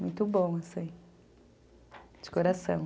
Muito bom, assim, de coração.